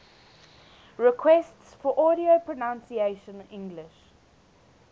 requests for audio pronunciation english